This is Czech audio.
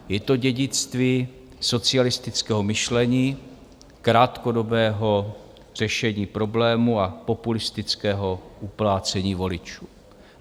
Je to dědictví socialistického myšlení, krátkodobého řešení problému a populistického uplácení voličů.